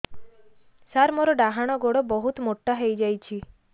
ସାର ମୋର ଡାହାଣ ଗୋଡୋ ବହୁତ ମୋଟା ହେଇଯାଇଛି